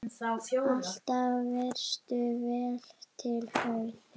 Alltaf varstu vel til höfð.